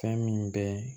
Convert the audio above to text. Fɛn min bɛ